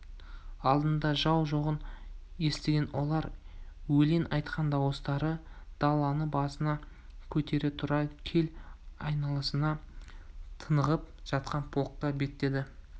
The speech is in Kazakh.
алдында жау жоғын естіген олар өлең айтқан дауыстары даланы басына көтере тура кел айналасында тынығып жатқан полкқа беттеді